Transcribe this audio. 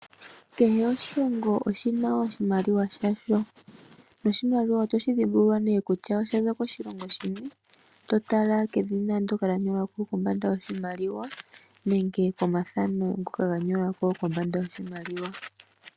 Kehe oshilongo oshi na oshimaliwa sha sho. Noshimaliwa oto shi dhimbulula ne kutya osha za koshilongo shini, to tala kedhina ndoka lya nyolwa ko kombanda yoshimaliwa, nenge komathano ngoka ga nyolwa ko kombanda yoshimaliwa.